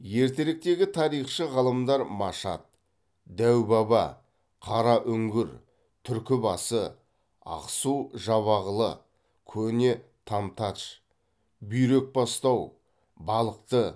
ертеректегі тарихшы ғалымдар машат дәубаба қараүңгір түркібасы ақсу жабағылы көне тамтадж бүйрекбастау балықты